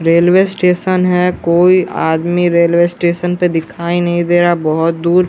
railway station है कोई आदमी रेलवे स्टेशन पे दिखाई नहीं दे रहा है बहोत दूर--